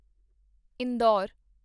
Indore